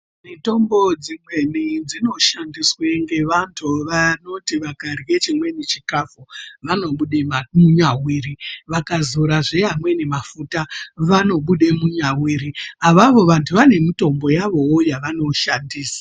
Mutombo dzimweni dzinoshandiswe ngevantu vanoti vakarye chimweni chikafu vanobude munyaviri, vakazorazve amweni mafuta vanobude munyaviri. Avavo vantu vane mitombo mitombo yavowo yavanoshandisa.